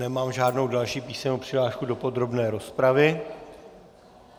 Nemám žádnou další písemnou přihlášku do podrobné rozpravy.